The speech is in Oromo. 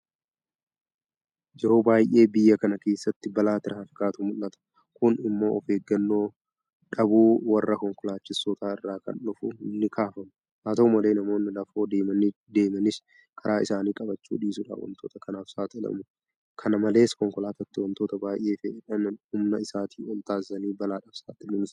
Yeroo baay'ee biyya kana keessatti balaa tiraafikaatu mul'ata. Kun immoo ofeeggannoo dhamuu warra konkolaachistootaa irraa akka dhufu nikaafama. Haata'u malee namoonni lafoo deemanis karaa isaanii qabachuu dhiisuudhaan waantota kanaaf saaxilamu. Kana malees konkolaataatti waantota baay'ee fe'eedhaan humna isaatii ol taasisanii balaadhaaf saaxiluunis jira.